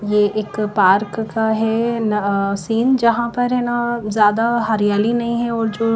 यह एक पार्क का है ना अह सीन यहां पर ये ना ज्यादा हरियाली नहीं है और जो--